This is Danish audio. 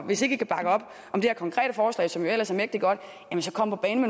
hvis ikke i kan bakke op om det her konkrete forslag som jo ellers er mægtig godt så kom på banen